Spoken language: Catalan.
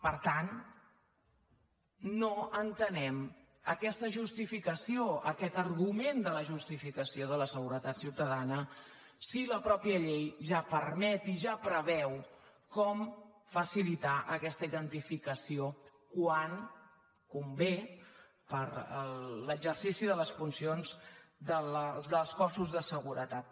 per tant no entenem aquesta justificació aquest argument de la justificació de la seguretat ciutadana si la mateixa llei ja permet i ja preveu com facilitar aquesta identificació quan convé per l’exercici de les funcions dels cossos de seguretat